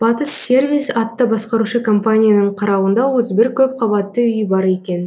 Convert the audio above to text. батыс сервис атты басқарушы компанияның қарауында отыз бір көпқабатты үй бар екен